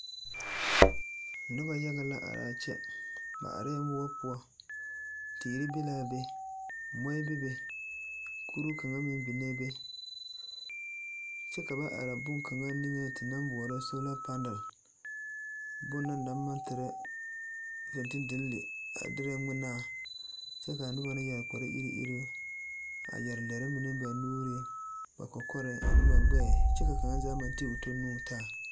Noba yaga la arɛɛ kyɛ. Ba arɛɛ moɔ poɔ. Teere be laa be, mɔɛ bebe, kuruu kaŋa meŋ biŋe be. Kyɛ ka ba are boŋkaŋa niŋe te naŋ maŋ boɔlɔ soola panal, bone na naŋ maŋ tere fenteldigilia derɛ ŋmenaa kyɛ kaa noba mine yɛre kpare-iri iruŋ a yɛre lɛre mine ba nuuriŋ, ba kɔkɔrɛɛŋ ane ba gbɛɛ kyɛ ka kaŋa zaa maŋ ti o tɔ nuŋ taa.